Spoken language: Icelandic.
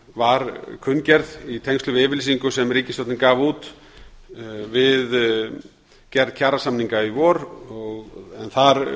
var kunngerð í tengslum við yfirlýsingu sem ríkisstjórnin gaf út við gerð kjarasamninga í vor en þar